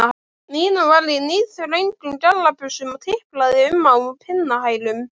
Nína var í níðþröngum gallabuxum og tiplaði um á pinnahælum.